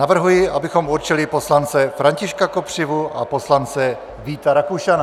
Navrhuji, abychom určili poslance Františka Kopřivu a poslance Víta Rakušana.